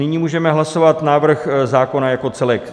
Nyní můžeme hlasovat návrh zákona jako celek.